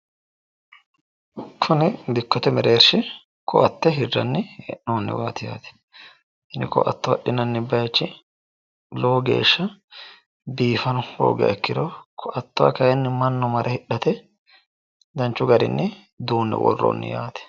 kuni dikkote mereershi koatte hidhinanniwaati yaate kuni koatte hidhinanni bayiichi lowo geeshsha biifano hoogiha ikkiro koattuwa kayiinni mannu mare hidhara duunnoonniwaati yaate.